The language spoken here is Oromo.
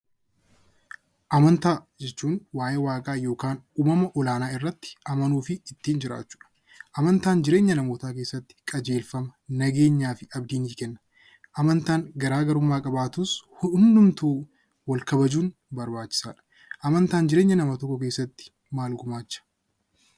Amantaa jechuun waa'ee waaqaa yookaan uumama ol-aanaa irratti amanuu fi ittiin jiraachuudha. Amantaan jireenya namootaa kessatti qajeelfama, nageenyaa fi abdii ni kenna. Amantaan garaagarummaa qabaatus hundumtuu Wal kabajuun barbaachisaadha. Amantaan jireenya nama tokko keessatti maal gumaacha?